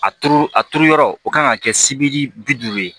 A turu a turu yɔrɔ o kan ka kɛ sibiri bi duuru ye